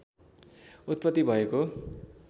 उत्पत्ति भएको